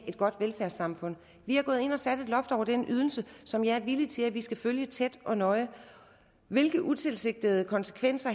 et godt velfærdssamfund vi er gået ind og har sat et loft over den ydelse som jeg er villig til at vi skal følge tæt og nøje hvilke utilsigtede konsekvenser